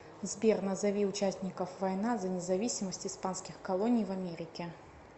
сбер назови участников война за независимость испанских колоний в америке